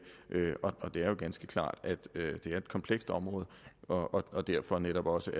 og det er jo ganske klart at det er et komplekst område og og derfor må man også